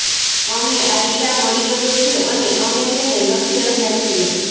અમને આઈડિયા મળી ગયો છે અને અમે તેને લખી રહ્યાં છીએ